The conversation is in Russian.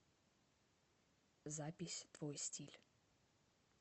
запись твой стиль